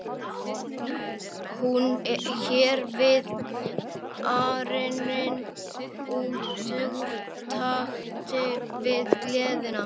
Hún hér við arininn út úr takti við gleðina.